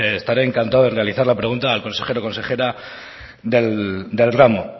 estaré encantando de realizar la pregunta al consejero o consejera del ramo